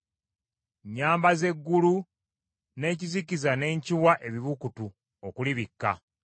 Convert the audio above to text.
Nyambaza eggulu, n’ekizikiza ne nkiwa ebibukutu okulibikka.”